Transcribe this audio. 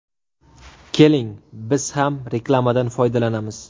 Keling, biz ham reklamadan foydalanamiz.